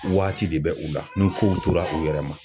Waati de bɛ u la ni kow tora u yɛrɛ ma.